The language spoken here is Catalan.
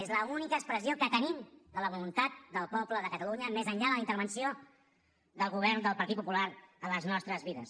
és l’única expressió que tenim de la voluntat del poble de catalunya més enllà de la intervenció del govern del partit popular a les nostres vides